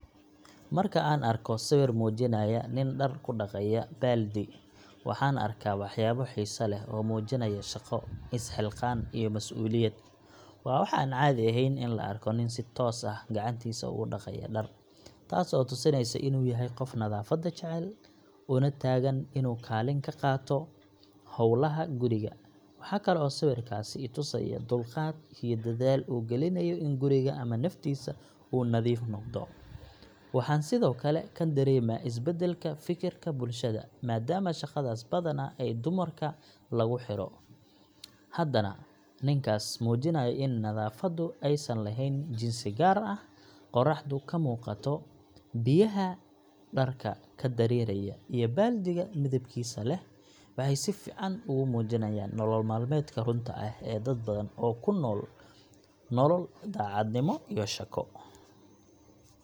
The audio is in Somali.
Marka aan arko sawir muujinaya nin dhar ku dhaqaya baaldi, waxaan arkaa waxyaabo xiiso leh oo muujinaya shaqo, isxilqaan iyo mas’uuliyad. Waa wax aan caadi ahayn in la arko nin si toos ah gacantiisa ugu dhaqaya dhar, taas oo tusinaysa inuu yahay qof nadaafadda jecel, una taagan inuu kaalin ka qaato howlaha guriga. Waxa kale oo sawirkaasi i tusayaa dulqaad iyo dadaal uu gelinayo in guriga ama naftiisa uu nadiif noqdo. Waxaan sidoo kale ka dareemaa isbedelka fikirka bulshada, maadaama shaqadaas badanaa ay dumarka lagu xiro, haddana ninkaas muujinayo in nadaafaddu aysan lahayn jinsi gaar ah. Qorraxda ka muuqata, biyaha dharka ka dareeraya, iyo baaldiga midabkiisa leh waxay si fiican ugu muujiyaan nolol maalmeedka runta ah ee dad badan oo ku nool nolol daacadnimo iyo shaqo.